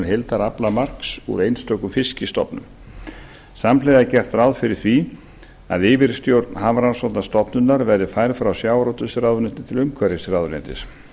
heildaraflamark úr einstökum fiskstofnum samhliða er gert ráð fyrir því að yfirstjórn hafrannsóknastofnunarinnar verði færð frá sjávarútvegsráðuneyti til umhverfisráðuneytis